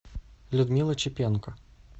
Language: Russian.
людмила чепенко